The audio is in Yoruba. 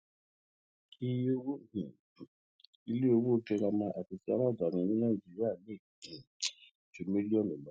iye owó um ilé ìwé girama ti aladaani ní nàìjíríà lè um ju mílíọnù lọ